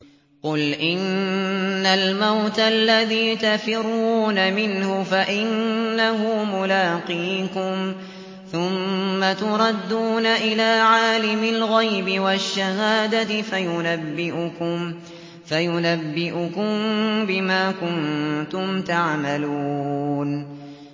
قُلْ إِنَّ الْمَوْتَ الَّذِي تَفِرُّونَ مِنْهُ فَإِنَّهُ مُلَاقِيكُمْ ۖ ثُمَّ تُرَدُّونَ إِلَىٰ عَالِمِ الْغَيْبِ وَالشَّهَادَةِ فَيُنَبِّئُكُم بِمَا كُنتُمْ تَعْمَلُونَ